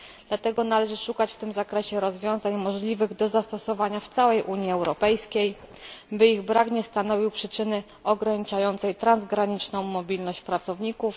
Dlatego należy szukać w tym zakresie rozwiązań możliwych do zastosowania w całej Unii Europejskiej, by ich brak nie stanowił przyczyny ograniczającej transgraniczną mobilność pracowników.